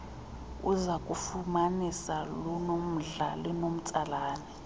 uzakulufumanisa lunomdla linomtsalane